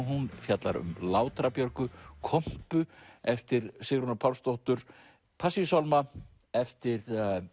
hún fjallar um Björgu kompu eftir Sigrúnu Pálsdóttur Passíusálma eftir